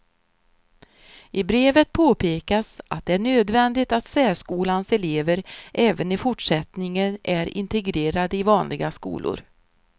I brevet påpekas att det är nödvändigt att särskolans elever även i fortsättningen är integrerade i vanliga skolor.